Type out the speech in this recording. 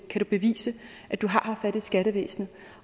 kan du bevise at du har haft fat i skattevæsenet